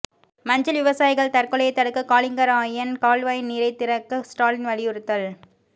மஞ்சள் விவசாயிகள் தற்கொலையை தடுக்க காலிங்கராயன் கால்வாய் நீரை திறக்க ஸ்டாலின் வலியுறுத்தல்